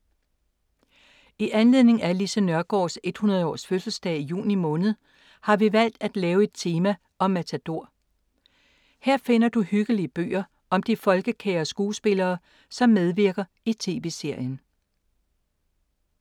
I anledning af Lise Nørgaards 100 års fødselsdag i juni måned, har vi valgt at lave et tema om Matador. Her finder du hyggelige bøger om de folkekære skuespillere, som medvirker i TV-serien.